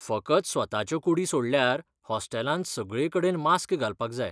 फकत स्वताच्यो कुडी सोडल्यार हॉस्टेलांत सगळेकडेन मास्क घालपाक जाय.